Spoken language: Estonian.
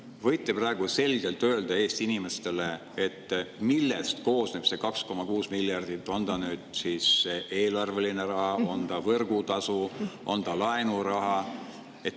Kas te võite praegu selgelt öelda Eesti inimestele, millest koosneb see 2,6 miljardit: on ta eelarve raha, on ta võrgutasu, on ta laenuraha?